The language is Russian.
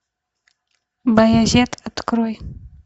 баязет открой